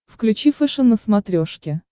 включи фэшен на смотрешке